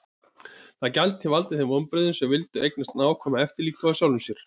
Það gæti valdið þeim vonbrigðum sem vildu eignast nákvæma eftirlíkingu af sjálfum sér.